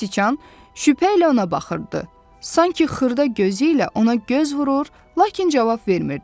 Siçan şübhə ilə ona baxırdı, sanki xırda gözü ilə ona göz vurur, lakin cavab vermirdi.